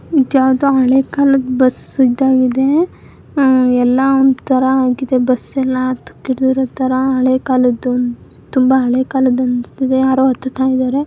ಇದು ಯಾವುದು ಹಳೆ ಕಾಲದ ಬಸ್ ಇದ್ದಹಾಗಿದೆ ಆಮ್ ಎಲ್ಲಾ ಒಂದ್ ತರಹ ಆಗಿದೆ ಬಸ್ ಎಲ್ಲಾ ತೊಕ್ಕಹಿಡ್ದಿರೋ ತರಹ ಹಳೆ ಕಾಲದು ತುಂಬಾ ಹಳೆ ಕಾಲದು ಅನಿಸ್ತದೆ ಯಾರು ಹತ್ತು--